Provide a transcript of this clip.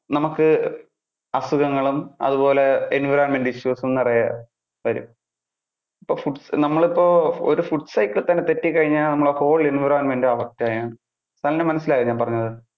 നമുക്ക് അസുഖങ്ങളും, അതുപോലെ environmental issues നിറയെ വരും. അപ്പൊ നമ്മൾ ഇപ്പോ ഒരു food cycle തന്നെ തെറ്റി കഴിഞ്ഞാൽ നമ്മടെ whole environment affect സനലിന് മനസ്സിലായോ ഞാൻ പറഞ്ഞത്.